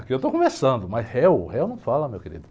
Aqui eu estou conversando, mas réu, réu não fala, meu querido.